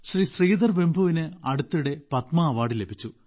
ശ്രീധർ വെമ്പുവിന് അടുത്തിടെ പത്മാ അവാർഡ് ലഭിച്ചു